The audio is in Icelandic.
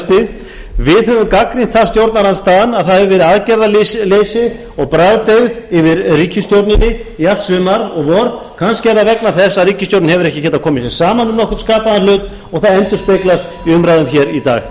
hausti við höfum gagnrýnt það stjórnarandstaðan að það hefur verið aðgerðarleysi og bragðdeyfð yfir ríkisstjórninni í allt sumar og vor kannski er það vegna þess að ríkisstjórnin hefur ekki getað komið sér saman um nokkurn skapaðan hlut og það endurspeglast í umræðum í dag